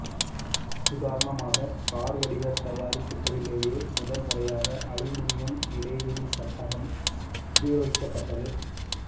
உதாரணமாக கார் வடிவ தயாரிப்புக்களிலேயே முதன் முறையாக அலுமினியம் இடைவெளி சட்டகம் உபயோகிக்கப்பட்டது